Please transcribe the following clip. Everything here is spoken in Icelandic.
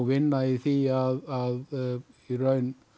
vinna í því að í raun